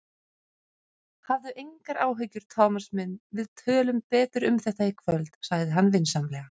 Hafðu engar áhyggjur, Thomas minn, við tölum betur um þetta í kvöld sagði hann vinsamlega.